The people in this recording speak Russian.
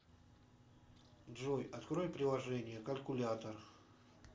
джой открой приложение калькулятор